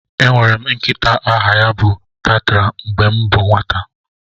Enwere m nkịta aha ya bụ Patra mgbe m bụ nwata